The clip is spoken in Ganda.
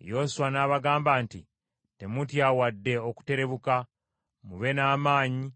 Yoswa n’abagamba nti, “Temutya wadde okuterebuka, mube n’amaanyi